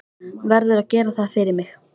Verður að gera það fyrir mig.